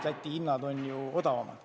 Läti hinnad on ju odavamad.